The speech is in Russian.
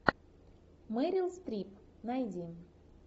мэрил стрип найди